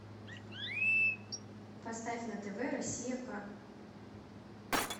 поставь на тв россия к